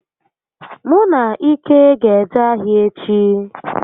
Mụ na Ike ga eje ahịa echi